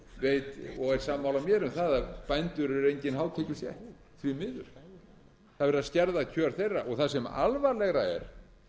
miður það er verið að skerða kjör þeirra og það sem alvarlegra er nei ég ætla ekki að segja að það sé alvarlegra það er